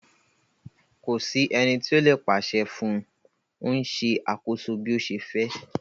Ko si eni ti o le paṣẹ fun u, o n ṣe akoso bi o ṣe fẹ